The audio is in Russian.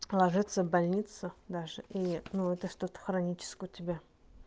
ложиться больницу даже и ну это что-то хроническое у тебя